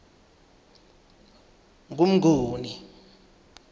ngumnguni